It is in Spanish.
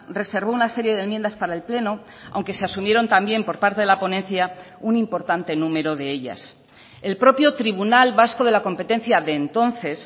reservó una serie de enmiendas para el pleno aunque se asumieron también por parte de la ponencia un importante número de ellas el propio tribunal vasco de la competencia de entonces